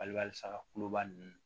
Alisa kulubali ninnu